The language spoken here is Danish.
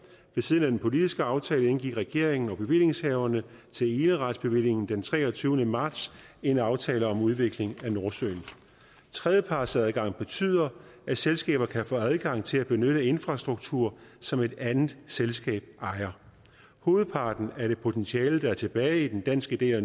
ved siden af den politiske aftale indgik regeringen og bevillingshaverne til eneretsbevillingen den treogtyvende marts en aftale om udvikling af nordsøen tredjepartsadgang betyder at selskaber kan få adgang til at benytte infrastruktur som et andet selskab ejer hovedparten af det potentiale der er tilbage i den danske del